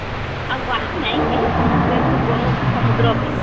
ଆଉ ଗାଧି ନାଇଁ କେଇ , ସମସ୍ତେ ତ ଗ୍ନୁ ସମୁଦ୍ର କେ